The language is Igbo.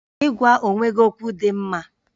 Ịgwa onwe gị okwu dị mma